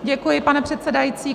Děkuji, pane předsedající.